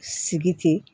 Sigi ten